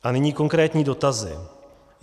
A nyní konkrétní dotazy.